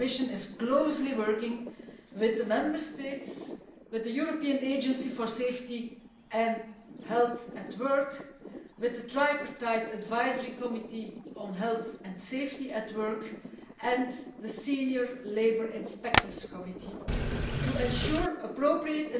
The Commission is working closely with the Member States, the European Agency for Safety and Health at Work, the Tripartite Advisory Committee on Health and Safety at Work and the Senior Labour Inspectors Committee to ensure appropriate